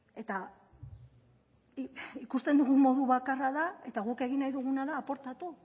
eta ikusten dugun modu bakarra da eta guk egin nahi duguna da aportatu